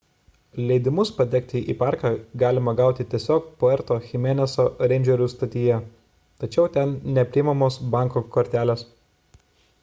leidimus patekti į parką galima gauti tiesiog puerto chimeneso reindžerių stotyje tačiau ten neprimamos banko kortelės